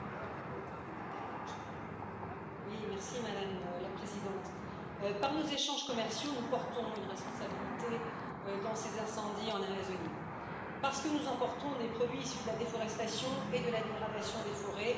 Madame la Présidente, par nos échanges commerciaux nous portons une responsabilité dans ces incendies en Amazonie, parce que nous importons des produits issus de la déforestation et de la dégradation des forêts viande bovine et soja, notamment.